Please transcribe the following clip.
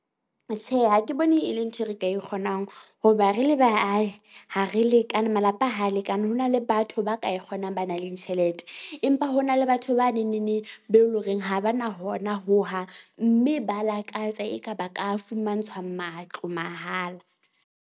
Tjhe, ha ke bone e le ntho e re ka e kgonang hoba re le baahi ha re lekane malapa ha lekane. Ho na le batho ba ka e kgonang ba na leng tjhelete. Empa ho na le batho ba neng neng neng be leng hore ha ba na hona ho hang, mme ba lakatsa eka ba ka fumantshwa matlo mahala.